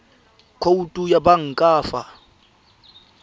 khoutu ya banka fa ba